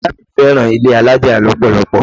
Ìyá mi fẹ́ràn ilé alájà lọ́pọ̀lọpọ̀.